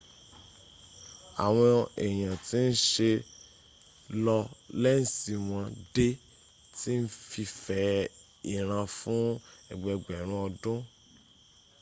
awon eyan ti n se lo lensi won de ti n fi fe iran fun egbegberun odun